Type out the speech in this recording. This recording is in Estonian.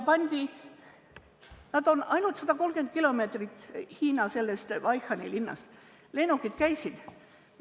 Nad ei asu sellest Hiina Wuhani linnast väga kaugel.